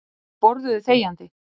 Þau borðuðu þegjandi.